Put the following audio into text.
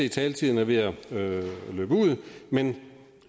at taletiden er ved at løbe ud men